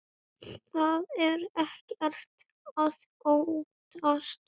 Þá er ekkert að óttast.